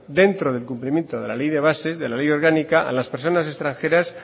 dentro del cumplimiento de la ley de bases de la ley orgánica a las personas extranjeras